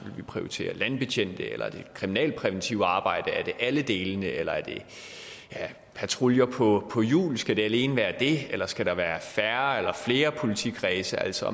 vi prioritere landbetjente eller det kriminalpræventive arbejde er det alle delene eller er det patruljer på hjul skal det alene være det eller skal der være færre eller flere politikredse altså